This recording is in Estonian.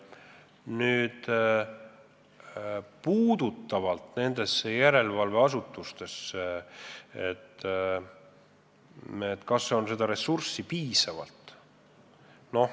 Nüüd sellest, kas järelevalveasutustel on ressurssi piisavalt.